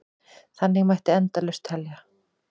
Þannig mætti endalaust telja.